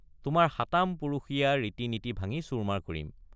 তোমাৰ সাতাম পুৰুষীয়া ৰীতি নীতি—ভাঙি চূৰমাৰ কৰিম।